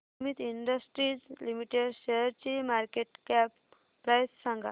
Sumeet industries limited शेअरची market cap price सांगा